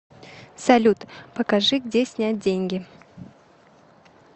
салют покажи где снять деньги